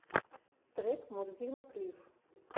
трек мурзилок лив